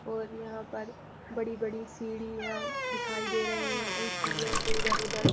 और यहां पर बड़ी-बड़ी सीढ़ियां दिखाई दे रही हैं और उन सीढ़ियों के इधर-उधर --